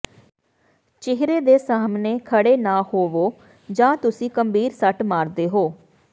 ਚਿਹਰੇ ਦੇ ਸਾਹਮਣੇ ਖੜ੍ਹੇ ਨਾ ਹੋਵੋ ਜਾਂ ਤੁਸੀਂ ਗੰਭੀਰ ਸੱਟ ਮਾਰਦੇ ਹੋ